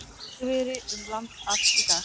Hægviðri um land allt í dag